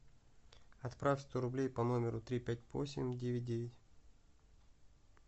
отправь сто рублей по номеру три пять восемь девять девять